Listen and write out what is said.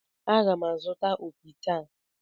Aga m azụta opi taa.